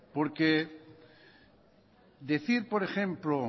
porque decir por ejemplo